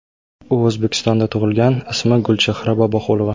U O‘zbekistonda tug‘ilgan, ismi Gulchehra Boboqulova.